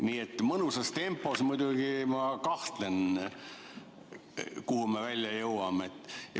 Nii et mõnusas tempos, muidugi ma kahtlen, kuhu me välja jõuame.